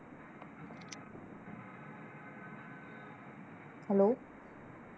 Hello